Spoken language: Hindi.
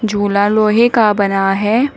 झूला लोहे का बना है।